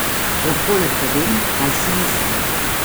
Lahko le povem, kaj si mislim.